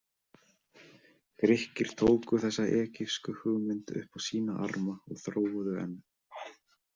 Grikkir tóku þessa egypsku hugmynd upp á sína arma og þróuðu enn.